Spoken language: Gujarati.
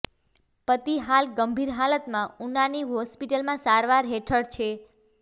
પતિ હાલ ગંભીર હાલતમાં ઉનાની હોસ્પિટલમાં સારવાર હેઠળ છે